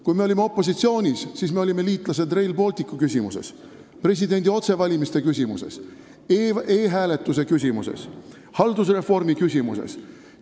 Kui me olime opositsioonis, siis me olime liitlased Rail Balticu küsimuses, presidendi otsevalimiste küsimuses, e-hääletuse küsimuses, haldusreformi küsimuses.